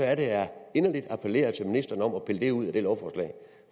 er det jeg inderligt appellerer til ministeren om at pille det ud af det lovforslag